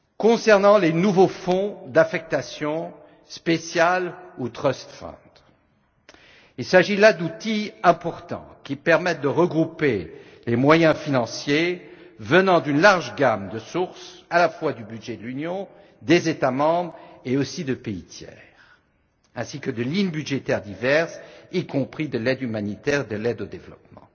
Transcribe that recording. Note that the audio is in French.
Concernant les nouveaux fonds d'affectation spéciale ou trust funds il s'agit là d'outils importants qui permettent de regrouper les moyens financiers venant de nombreuses sources, à la fois du budget de l'Union, des États membres et aussi de pays tiers, ainsi que de lignes budgétaires diverses, y compris de l'aide humanitaire et de l'aide au développement.